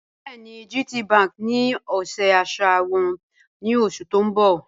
Bẹẹni, GTBank ní ọ̀ṣẹ àṣà wọn ni oṣù tí n bọ́